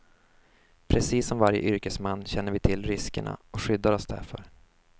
Precis som varje yrkesman känner vi till riskerna och skyddar oss därför.